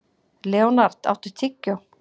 Leonhard, áttu tyggjó?